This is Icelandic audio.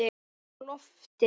Á lofti